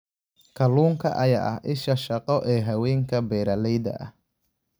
Kalluunka ayaa ah isha shaqo ee haweenka beeraleyda ah.